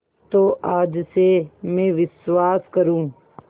तो आज से मैं विश्वास करूँ